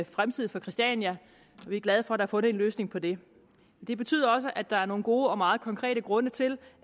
fremtid for christiania og vi er glade for at der er fundet en løsning på det det betyder også at der er nogle gode og meget konkrete grunde til